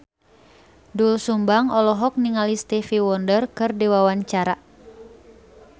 Doel Sumbang olohok ningali Stevie Wonder keur diwawancara